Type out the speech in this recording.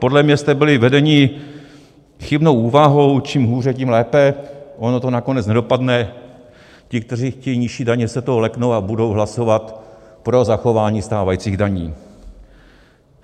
Podle mě jste byli vedeni chybnou úvahou: čím hůře, tím lépe, ono to nakonec nedopadne, ti, kteří chtějí nižší daně, se toho leknou a budou hlasovat pro zachování stávajících daní.